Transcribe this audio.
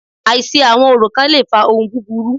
Àìṣe àwọn orò kán le fa ohun búburú.